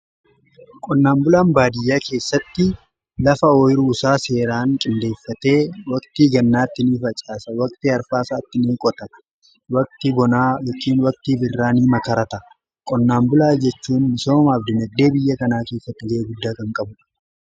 qonnaan bulaan baadiyyaa keessatti lafa oyiruusaa seeraan qindeeffatee waqtii gannaatti nii facaasa, waqtii arfaasaatti in qota fi waqti bonaa irraa ni makarata qonnaan bulaa jechuun misomaaf dinagdee biyya kanaa keessatti ga’ee guddaa kan qabudha.